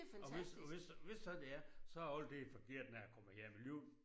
Og hvis hvis så hvis så det er så det altid forkert når jeg kommer hjem alligevel